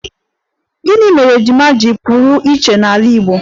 Gịnị mere ejima ji pụrụ iche n'ala Igbo?